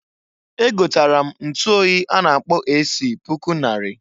Egotara m ntuoyi a na-akpọ AC puku nnarị.